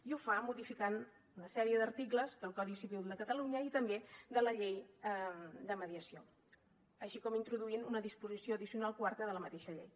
i ho fa modificant una sèrie d’articles del codi civil de catalunya i també de la llei de mediació així com introduint una disposició addicional quarta de la mateixa llei